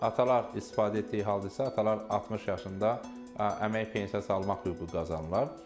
Atalar istifadə etdiyi halda isə atalar 60 yaşında əmək pensiyası almaq hüququ qazanırlar.